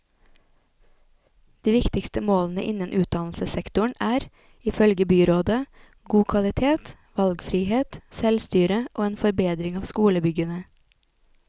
De viktigste målene innen utdannelsessektoren er, ifølge byrådet, god kvalitet, valgfrihet, selvstyre og en forbedring av skolebyggene.